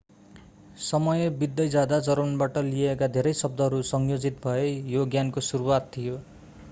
समय बित्दै जाँदा जर्मनबाट लिइएका धेरै शब्दहरू संयोजित भए यो ज्ञानको सुरुवात थियो